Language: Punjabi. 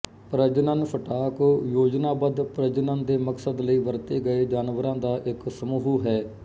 ਪ੍ਰਜਨਨ ਸਟਾਕ ਯੋਜਨਾਬੱਧ ਪ੍ਰਜਨਨ ਦੇ ਮਕਸਦ ਲਈ ਵਰਤੇ ਗਏ ਜਾਨਵਰਾਂ ਦਾ ਇੱਕ ਸਮੂਹ ਹੈ